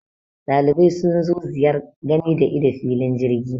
Dalibai sun zo ziyar gani da ido filin jirgi